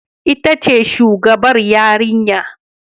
Ita ce shugabar yarinya